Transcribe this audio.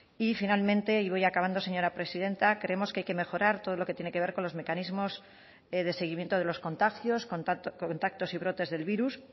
y finalmente y voy acabando señora presidenta creemos que hay que mejorar todo lo que tiene que ver con los mecanismos de seguimiento de los contagios contactos y brotes del virus